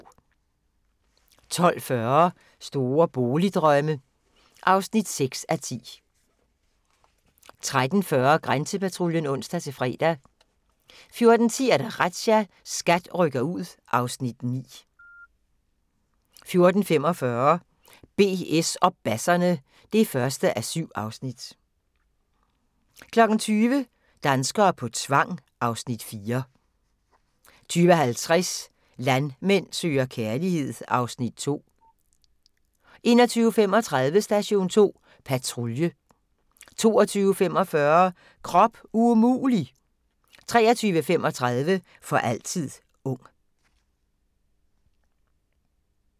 12:40: Store boligdrømme (6:10) 13:40: Grænsepatruljen (ons-fre) 14:10: Razzia – SKAT rykker ud (Afs. 9) 14:45: BS og basserne (1:7) 15:20: Hva' bruden ikke ved (Afs. 7) 20:00: Danskere på tvang (Afs. 4) 20:50: Landmand søger kærlighed (Afs. 2) 21:35: Station 2 Patrulje 22:45: Krop umulig! 23:35: For altid ung